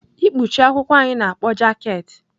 Ikpuchi akwụkwọ anyị na-akpọ jaket.